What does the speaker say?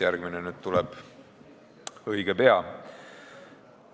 Järgmine tuleb õige pea.